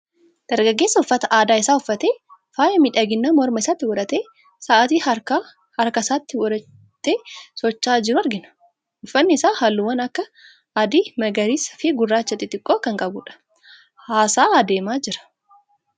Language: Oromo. Dargaggeessa uffata aadaa isaa uffatee, faaya miidhaginaa morma isaatti godhatee, sa'aatii harkaa harkasaatti godhatee socho'aa jiru argina. Uffatni isaa halluuwwan akka adii, magariisaa fi gurraacha xixiqqoo kan qabu dha. Haasa'aa adeemaa jira.